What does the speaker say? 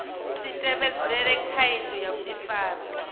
si tevhedzele khoudu ya vhudifari